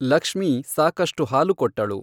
ಲಕ್ಷ್ಮೀ ಸಾಕಷ್ಟು ಹಾಲು ಕೊಟ್ಟಳು.